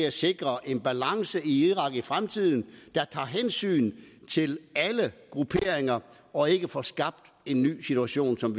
at sikre en balance i irak i fremtiden der tager hensyn til alle grupperinger og ikke får skabt en ny situation som